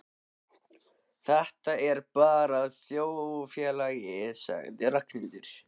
Þetta er bara þjóðfélagið sagði Ragnhildur.